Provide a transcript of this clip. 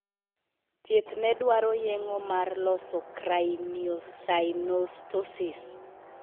Thieth ne dwaro yeng'o mar loso craniosynostosis.